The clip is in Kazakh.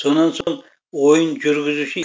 сонан соң ойын жүргізуші